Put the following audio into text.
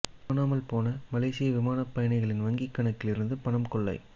காணமல் போன மலேசிய விமான பயணிகளின் வங்கி கணக்கில் இருந்து பணம் கொள்ளை